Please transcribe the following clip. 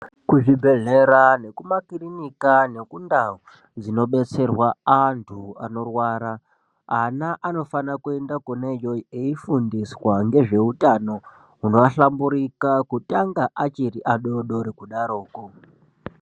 Kuzvibhedhlera nekumakirinika nekundau dzinobetserwa antu anorwara ana anofanira kuenda kwona iyoyo eifundiswa ngezveutano hwunohlamburika kutanga achiri adodori kudaroko.